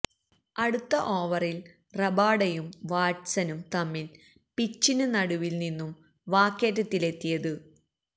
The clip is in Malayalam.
അടുത്ത ഓവറില് റബാഡയും വാട്സനും തമ്മില് പിച്ചിന് നടുവില് നിന്നും വാക്കേറ്റത്തിലെത്തിയത്